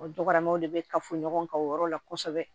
O dɔgɔmaw de be kafoɲɔgɔn kan o yɔrɔ la kɔsɛbɛ